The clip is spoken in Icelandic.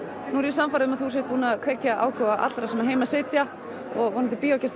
sannfærð um að þú sért búinn að kveikja áhuga allra sem heima sitja og vonandi